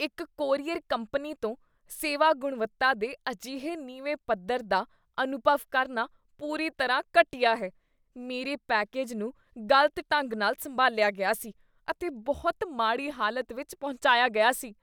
ਇੱਕ courier company ਤੋਂ ਸੇਵਾ ਗੁਣਵੱਤਾ ਦੇ ਅਜਿਹੇ ਨੀਵੇਂ ਪੱਧਰ ਦਾ ਅਨੁਭਵ ਕਰਨਾ ਪੂਰੀ ਤਰ੍ਹਾਂ ਘਟੀਆ ਹੈ। ਮੇਰੇ ਪੈਕੇਜ ਨੂੰ ਗਲਤ ਢੰਗ ਨਾਲ ਸੰਭਾਲਿਆ ਗਿਆ ਸੀ ਅਤੇ ਬਹੁਤ ਮਾੜੀ ਹਾਲਤ ਵਿੱਚ ਪਹੁੰਚਿਆ ਗਿਆ ਸੀ।